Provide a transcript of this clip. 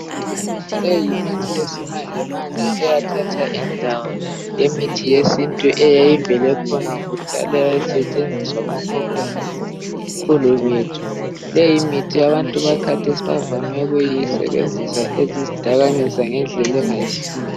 Leyi yimithi yesimanje manje eyathatha indawo yemithi yesintu eyayivele ikhona kudala. Eyayisetshenziswa ngokhokho labokhulu bethu. Leyi mithi abantu bakhathesi bavame ukuyisebenzisa ezidakamizwa ngendlela engayisiyo.